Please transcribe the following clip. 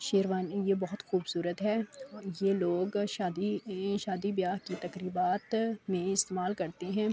شیروانی یہ بھوت خوبصورت ہے۔ اور یہ لوگ شادی-شادی بیاہ کی تکریبات مے استمعال کرتے ہے۔